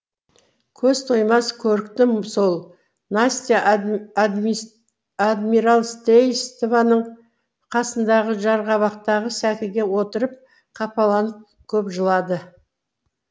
көз тоймас көріктім сол настя адмиралтействоның қасындағы жарғабақтағы сәкіге отырып қапаланып көп жылады